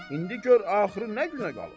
İndi gör axırı nə günə qalıb.